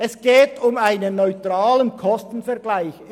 Es geht um einen neutralen Kostenvergleich.